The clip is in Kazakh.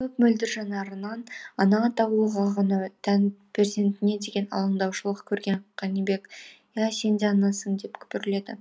мөп мөлдір жанарынан ана атаулыға ғана тән перзентіне деген алаңдаушылық көрген қанибек иә сен де анасың деп күбірледі